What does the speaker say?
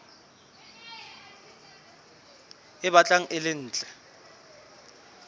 e batlang e le ntle